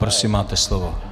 Prosím, máte slovo.